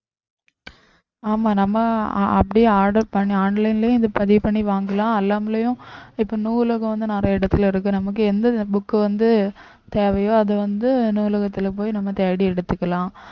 ஆமா நம்ம அஹ் அப்படியே order பண்ணி online லயே இதை பதிவு பண்ணி வாங்கலாம் இப்ப நூலகம் வந்து நிறைய இடத்துல இருக்கு நமக்கு எந்த book வந்து தேவையோ அது வந்து நூலகத்துல போய் நம்ம தேடி எடுத்துக்கலாம்